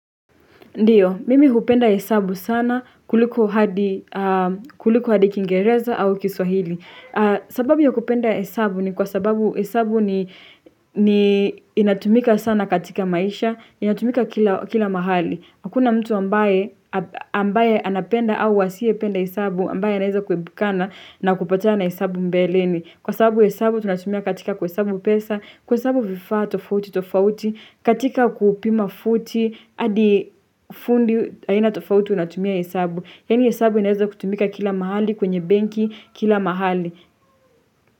Ndiyo, mimi kupenda hesabu sana kuliko hadi kiingereza au kiswahili. Sababu ya kupenda hesabu ni kwa sababu, hesabu inatumika sana katika maisha, inatumika kila mahali. Hakuna mtu ambaye anapenda au wasiyependa hesabu ambaye anaweza kwepukana na kupatana hesabu mbeleni. Kwa sababu hesabu tunatumia katika kwa hesabu pesa, kwa hesabu vifaa tofauti tofauti, katika kupima futi, hadi fundi aina tofauti unatumia hesabu. Yaani hesabu inaweza kutumika kila mahali kwenye banki, kila mahali.